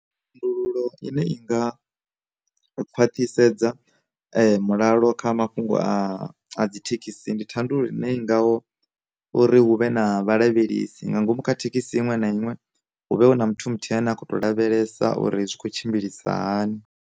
Thandululo ine i nga khwathisedza mulalo kha mafhungo a a dzi thekhisi, ndi thandululo ine i ngaho uri hu vhe na vha lavhelesi nga ngomu kha thekhisi iṅwe na iṅwe hu vhe na muthu muthu ane a kho to lavhelesa uri zwi khou tshimbilisa hani.